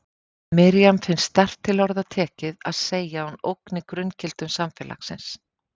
Miriam finnst sterkt til orða tekið að segja að hún ógni grunngildum samfélagsins.